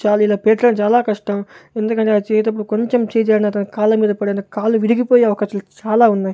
చాలీల పెర్చడం చాలా కష్టం ఎందుకంటె అవి చేసేటప్పుడు కొంచెం చెయ్ జారిన తన కాళ్ళ మీద పడి కాళ్ళు విరిగి పోయే అవకాశాలు చాలా ఉన్నాయి.